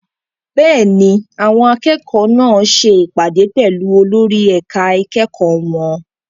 Bẹ́ẹ̀ni, àwọn akẹ́kọ̀ọ́ náà ṣe ìpàdé pẹ̀lú olórí ẹ̀ka ìkẹ́kọ̀ọ́ wọn.